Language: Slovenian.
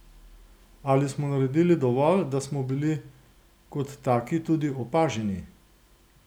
Ali smo naredili dovolj, da smo bili kot taki tudi opaženi?